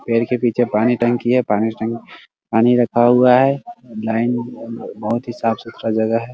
पेड़ के पीछे पानी टंकी है पानी टंकी पानी रखा हुआ है | लाइन बहुत ही साफ सुथार जगह है ।